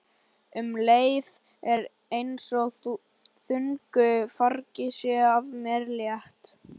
Um leið er einsog þungu fargi sé af mér létt.